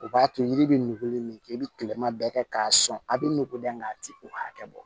O b'a to yiri bɛ nugu ni min kɛ i bɛ tilema bɛɛ kɛ k'a sɔn a bɛ nugu da nga a tɛ u hakɛ bɔ